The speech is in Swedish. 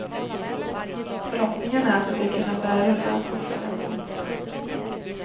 Förhoppningen är att de ska kunna börja rulla påföljande onsdag.